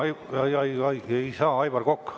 Ei saa, Aivar Kokk.